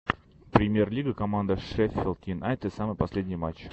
премьер лига команда шеффилд юнайтед самый последний матч